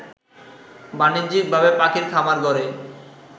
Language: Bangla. বাণিজ্যিকভাবে পাখির খামার গড়ে